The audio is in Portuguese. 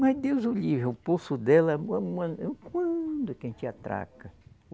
Mas, Deus o livre, o pulso dela, quando que a gente atraca?